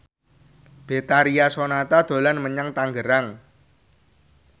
Betharia Sonata dolan menyang Tangerang